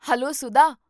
Hello Sudha!